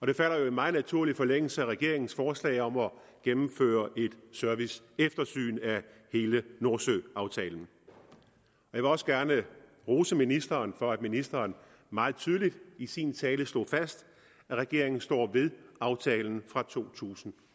det falder jo i meget naturlig forlængelse af regeringens forslag om at gennemføre et serviceeftersyn af hele nordsøaftalen jeg vil også gerne rose ministeren for at ministeren meget tydeligt i sin tale slog fast at regeringen står ved aftalen fra to tusind